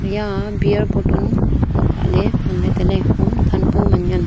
eya beer botol kap lah ley ngan ley tai ley hom than bu man ngan.